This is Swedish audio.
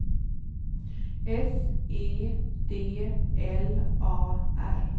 S E D L A R